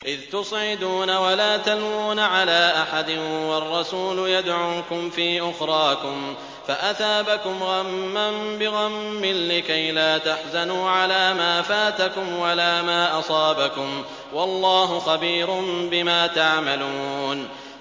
۞ إِذْ تُصْعِدُونَ وَلَا تَلْوُونَ عَلَىٰ أَحَدٍ وَالرَّسُولُ يَدْعُوكُمْ فِي أُخْرَاكُمْ فَأَثَابَكُمْ غَمًّا بِغَمٍّ لِّكَيْلَا تَحْزَنُوا عَلَىٰ مَا فَاتَكُمْ وَلَا مَا أَصَابَكُمْ ۗ وَاللَّهُ خَبِيرٌ بِمَا تَعْمَلُونَ